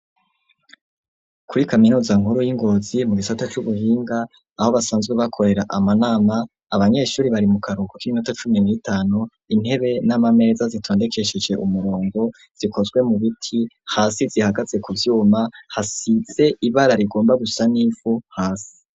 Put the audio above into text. Kuri kaminuza nkuru y'i Ngozi mu gisata c'ubuhinga, aho basanzwe bakorera amanama, abanyeshuri bari mu karuhuko k'iminota cumi n'itanu, intebe n'amameza zitondekesheje umurongo, zikozwe mu biti, hasi zihagaze ku vyuma, hasize ibara rigomba gusa n'ivu hasi.